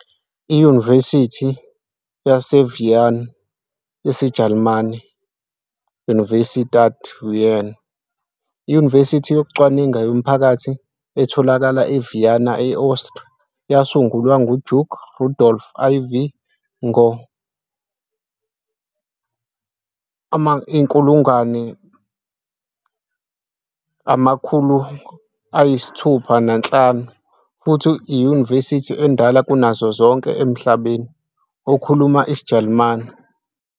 IYunivesithi yaseVienna, isiJalimane- Universität Wien, iyunivesithi yokucwaninga yomphakathi etholakala eVienna, e-Austria. Yasungulwa nguDuke Rudolph IV ngo-1365 futhi iyunivesithi endala kunazo zonke emhlabeni okhuluma isiJalimane.